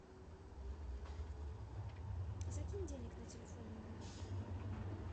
закинь денег на телефон